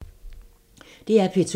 DR P2